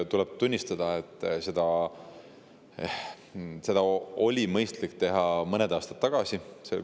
Tuleb tunnistada, et oleks olnud mõistlik teha see mõned aastad tagasi.